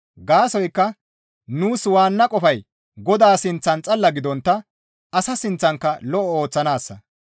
Gaasoykka nuus waanna qofay Godaa sinththan xalla gidontta asa sinththankka lo7o ooththanaassa.